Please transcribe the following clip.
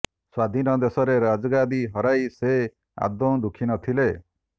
ସ୍ୱାଧୀନ ଦେଶରେ ରାଜଗାଦୀ ହରାଇ ସେ ଆଦୌ ଦୁଃଖୀ ନଥିଲେ